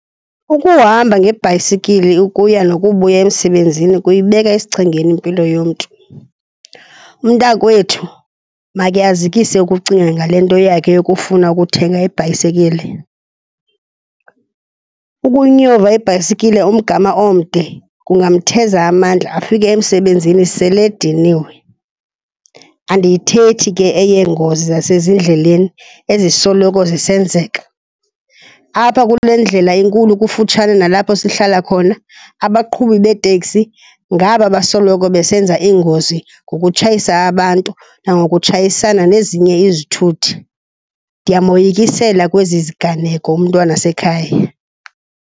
Ukuhamba ngebhayisekile ukuya nokubuya emsebenzini kuyibeka esichengeni impilo yomntu. Umntakwethu makhe azikise ukucinga ngale nto yakhe yokufuna ukuthenga ibhayisekile. Ukunyova ibhayisekile umgama omde kungamtheza amandla afike emsebenzini sele ediniwe, andiyithethi ke eyengozi zasezindleleni ezisoloko zisenzeka. Apha kule ndlela enkulu kufutshane nalapho sihlala khona, abaqhubi beeteksi ngaba basoloko besenza iingozi ngokutshayisa abantu nangokutshayisana nezinye izithuthi. Ndiyamoyikisela kwezi ziganeko umntwanasekhaya.